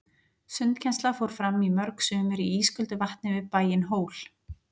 Sundkennsla fór fram í mörg sumur í ísköldu vatni við bæinn Hól.